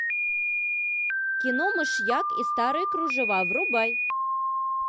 кино мышьяк и старые кружева врубай